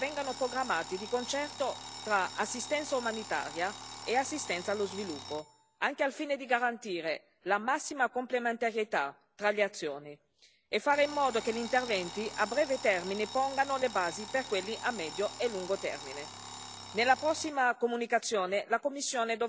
È essenziale che le azioni dell'Unione sulla resilienza vengano programmate di concerto tra assistenza umanitaria e assistenza allo sviluppo, anche al fine di garantire la massima complementarietà tra le azioni e fare in modo che gli interventi a breve termine pongano le basi per quelli a medio e lungo termine.